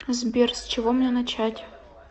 сбер с чего мне начать